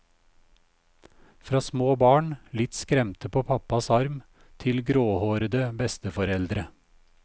Fra små barn, litt skremte på pappas arm, til gråhårede besteforeldre.